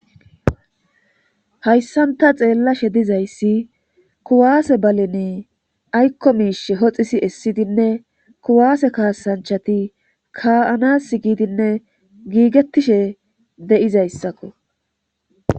hayssan xeellashe dizayssi kuwaase balene aykko miishe hoxisi essidinne kuwaase kaasanchati ka'anas giidinne giigettishe dizayssakko.